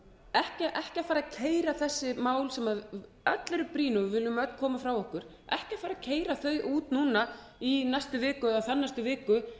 ekki að fara að keyra þessi mál sem öll eru brýn og við viljum öll koma af okkur ekki fara að keyra þau út núna í næstu viku